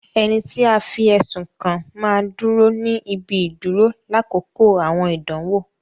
Ẹni tí a fi ẹsùn kàn máa ń dúró ní ibi ìdúró lákòókò àwọn ìdánwò